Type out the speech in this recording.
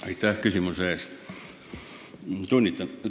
Aitäh küsimuse eest!